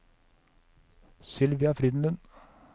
Sylvia Frydenlund